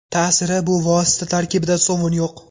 Ta’siri: Bu vosita tarkibida sovun yo‘q.